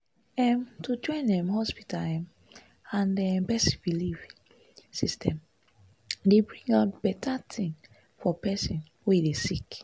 em- to join um hospita um ah and um pesin belief emmm system dey bring out beta tin for pesin wey dey sick